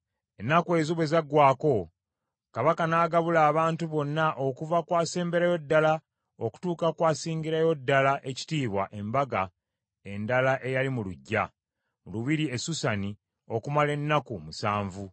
Ennaku ezo bwe zaggwaako, Kabaka n’agabula abantu bonna okuva ku asemberayo ddala okutuuka ku asingirayo ddala ekitiibwa embaga endala eyali mu luggya, mu lubiri e Susani okumala ennaku musanvu.